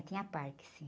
Tinha parque, sim.